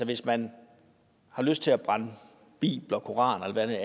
hvis man har lyst til at brænde bibler koraner eller hvad ved